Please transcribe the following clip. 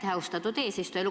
Aitäh, austatud eesistuja!